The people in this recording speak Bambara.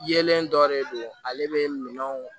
Yelen dɔ de don ale bɛ minɛnw